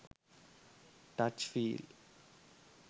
touch feel